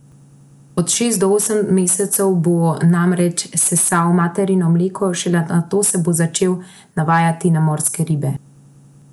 Od šest do osem mesecev bo namreč sesal materino mleko, šele nato se bo začel navajati na morske ribe.